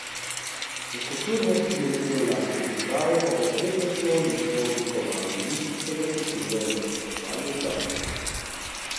Za kulturne spomenike v lasti države pa bo prednostno listo oblikovalo ministrstvo za kulturo v sodelovanju z zavodom.